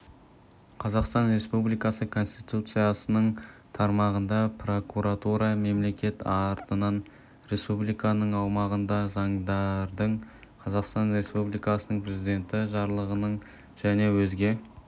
қазақстан республикасы конституциясының тармағында прокуратура мемлекет атынан республиканың аумағында заңдардың қазақстан республикасының президенті жарлықтарының және өзге